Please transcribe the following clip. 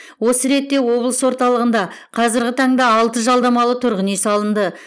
осы ретте облыс орталығында қазіргі таңда алты жалдамалы тұрғын үй салынды